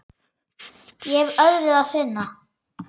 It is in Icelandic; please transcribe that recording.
Ég hef öðru að sinna.